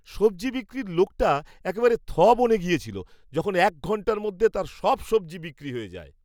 সবজি বিক্রির লোকটা একেবারে থ বনে গেছিল যখন এক ঘণ্টার মধ্যে তার সব সবজি বিক্রি হয়ে যায়।